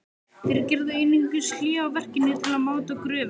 Þeir gerðu einungis hlé á verkinu til að máta gröfina.